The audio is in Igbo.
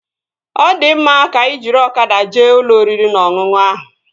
Ọ di mma, ka anyị jiri ọkada jee ụlọ oriri na ọṅụṅụ ahụ